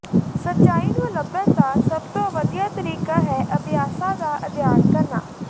ਸੱਚਾਈ ਨੂੰ ਲੱਭਣ ਦਾ ਸਭ ਤੋਂ ਵਧੀਆ ਤਰੀਕਾ ਹੈ ਅਭਿਆਸਾਂ ਦਾ ਅਧਿਐਨ ਕਰਨਾ